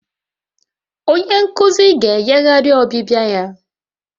Onye nkuzi ga-eyigharị ọbịbịa ya